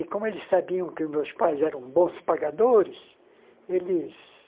E como eles sabiam que meus pais eram bons pagadores, eles...